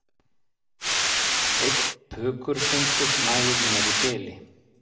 Einn pukurfundur nægir mér í bili